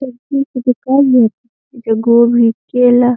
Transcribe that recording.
सब्जी के दुकान बाटें। गोभी केला --